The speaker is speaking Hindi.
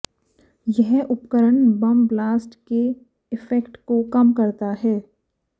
यह उपकरण बम ब्लास्ट के इफेक्ट को कम करता है